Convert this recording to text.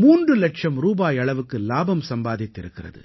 மூன்று இலட்சம் ரூபாய் அளவுக்கு இலாபம் சம்பாதித்திருக்கிறது